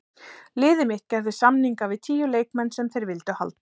Liðið mitt gerði samninga við tíu leikmenn sem þeir vildu halda.